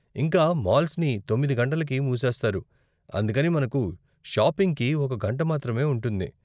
ఇంకా, మాల్స్ని తొమ్మిది గంటలకి మూసేస్తారు, అందుకని మనకు షాపింగ్కి ఒక గంట మాత్రమే ఉంటుంది.